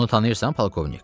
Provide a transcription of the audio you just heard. Onu tanıyırsan, polkovnik?